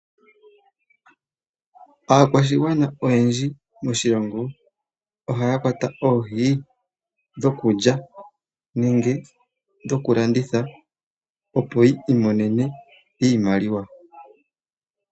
Aakwashigwana oyendji moshilongo ohaya kwata oohi dhokulya nenge dhokulanditha, opo yi imonene iimaliwa.